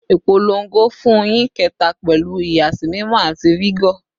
Ipolongo fun nyin keta pẹlu ìyàsímímọ ati vigor